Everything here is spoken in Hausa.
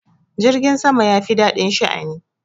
Jirgin sama ya fi daɗin sha'ani.